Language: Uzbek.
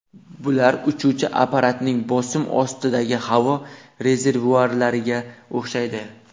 Bular uchuvchi apparatning bosim ostidagi havo rezervuarlariga o‘xshaydi.